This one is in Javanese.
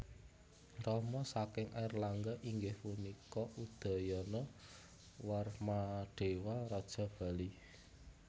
Rama saking Airlangga inggih punika Udayana Warmadewa raja Bali